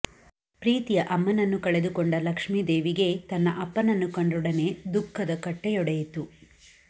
ಪ್ರೀತಿಯ ಅಮ್ಮನನ್ನು ಕಳೆದುಕೊಂಡ ಲಕ್ಷ್ಮೀ ದೇವಿಗೆ ತನ್ನ ಅಪ್ಪನನ್ನು ಕಂಡೊಡನೆ ದುಃಖದ ಕಟ್ಟೆಯೊಡೆಯಿತು